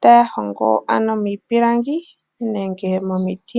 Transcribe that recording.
taya hongo ano miipilangi nenge momiti.